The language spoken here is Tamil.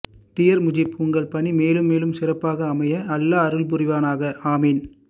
டியர் முஜீப் உங்கள் பணி மேலும் மேலும் சிறப்பாக அமைய அல்லாஹு அருள்புரிவானாக ஆமீன்